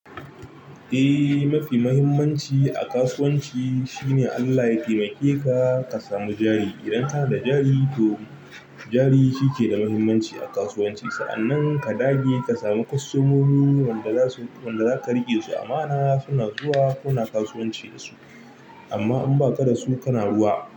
Eh, mafi muhimmanci a kasuwanci shine Allah ya taimake ka ka samu jari. Idan ka na da jari, to jari shi ke da muhimmanci a kasuwanci. Sa'annan ka dage ka samu kwastomomi wanda zasu wanda zaka riƙe su. Amma ana suna zuwa kana kasuwanci da su amma in baka da su kana ruwa.